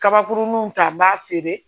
Kabakurunw ta n b'a feere